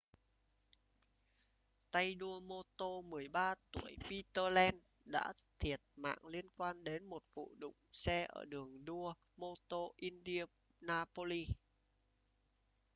tay đua mô tô 13 tuổi peter lenz đã thiệt mạng liên quan đến một vụ đụng xe ở đường đua mô-tô indianapolis